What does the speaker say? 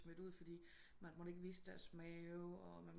Smidt ud fordi man ikke måtte vise deres mave og